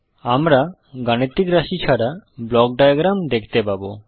আমরা গাণিতিক রাশি ছাড়া ব্লক ডায়াগ্রাম দেখতে পাবো